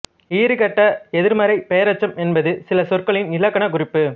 ஈறுகெட்ட எதிர்மறைப் பெயரெச்சம் என்பது சில சொற்களின் இலக்கண குறிப்பு